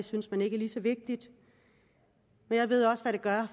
synes er lige så vigtigt men jeg ved også hvad det gør